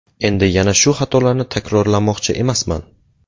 Endi yana shu xatolarni takrorlamoqchi emasman.